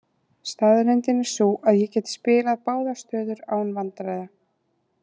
Staðreyndin er sú að ég get spilað báðar stöður án vandræða.